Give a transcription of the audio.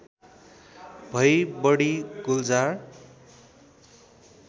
भई बढी गुल्जार